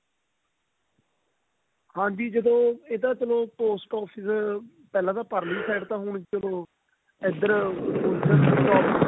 ਹਾਂਜੀ ਚਲੋ ਇਹ ਤਾਂ ਚਲੋ post office ਪਹਿਲਾਂ ਤਾਂ ਪਰਲੀ side ਤਾ ਹੁਣ ਚਲੋ ਇੱਧਰ